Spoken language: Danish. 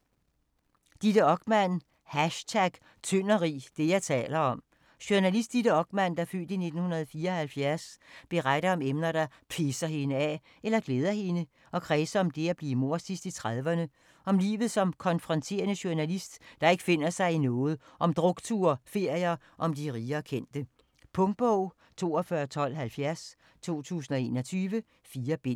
Okman, Ditte: #tyndogrig: det, jeg taler om Journalist Ditte Okman (f. 1974) beretter om emner, der pisser hende af eller glæder hende, og kredser om det at bliver mor sidst i 30'erne, om livet som konfronterende journalist, der ikke finder sig i noget, om drukture, ferier og om de rige og kendte. Punktbog 421270 2021. 4 bind.